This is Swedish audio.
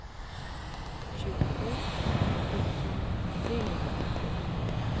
tjugosju tusen trehundraåttionio